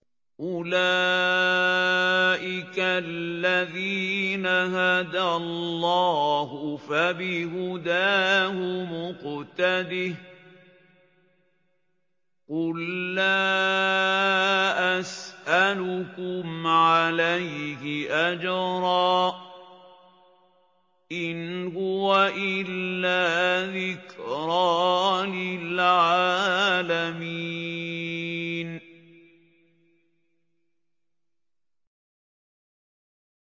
أُولَٰئِكَ الَّذِينَ هَدَى اللَّهُ ۖ فَبِهُدَاهُمُ اقْتَدِهْ ۗ قُل لَّا أَسْأَلُكُمْ عَلَيْهِ أَجْرًا ۖ إِنْ هُوَ إِلَّا ذِكْرَىٰ لِلْعَالَمِينَ